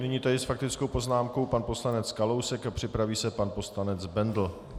Nyní tedy s faktickou poznámkou pan poslanec Kalousek a připraví se pan poslanec Bendl.